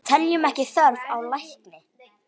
Teljum ekki þörf á lækni!